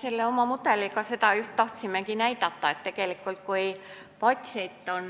Selle mudeliga me tahtsimegi näidata just seda, et kui patsient on